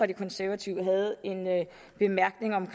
de konservative havde en bemærkning om